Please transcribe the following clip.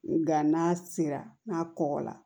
Nka n'a sera n'a kɔgɔ la